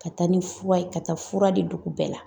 Ka taa ni fura ye, ka taa fura di dugu bɛɛ la.